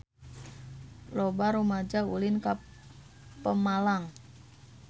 Loba rumaja ulin ka Pemalang